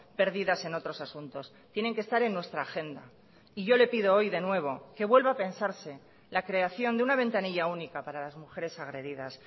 perdidas en otros asuntos tienen que estar en nuestra agenda y yo le pido hoy de nuevo que vuelva a pensarse la creación de una ventanilla única para las mujeres agredidas